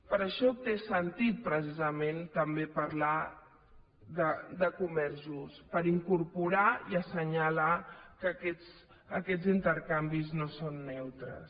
per això té sentit precisament també parlar de comerç just per incorporar i assenyalar que aquests intercanvis no són neutres